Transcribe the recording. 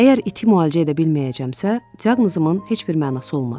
Əgər iti müalicə edə bilməyəcəmsə, diaqnozumun heç bir mənası olmaz.